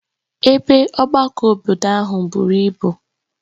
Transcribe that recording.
Ebe Ọgbakọ obodo ahụ buru ibu